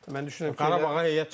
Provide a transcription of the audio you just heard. Mən düşünürəm ki, heyət.